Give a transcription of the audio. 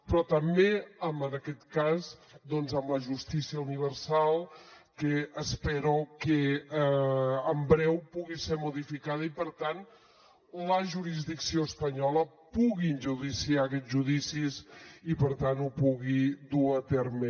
però també en aquest cas doncs en la justícia universal que espero que en breu pugui ser modificada i per tant la jurisdicció espanyola pugui enjudiciar aquests judicis i per tant ho pugui dur a terme